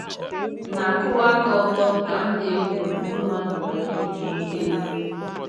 M ̀ na - akwụwa aka ọtọ ka m ̀ na - egwu ndị mmadụ wayo iji nweta ego?